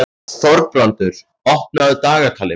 Þorbrandur, opnaðu dagatalið mitt.